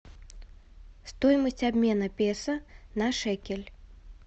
стоимость обмена песо на шекель